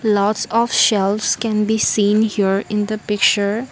lots of shelves can be seen here in the picture.